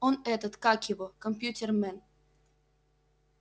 он этот как его компьютермен